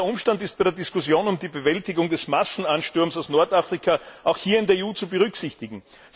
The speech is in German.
Dieser Umstand ist bei der Diskussion über die Bewältigung des Massenansturms aus Nordafrika auch hier in der EU zu berücksichtigen.